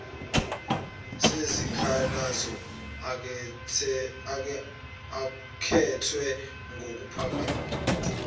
sezikhalazo akhethwe ngumphathisihlalo